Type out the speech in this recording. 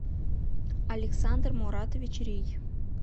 александр муратович рий